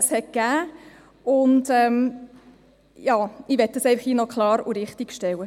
Das möchte ich hier einfach klarstellen.